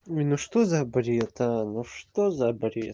не ну что за бред а ну что за бред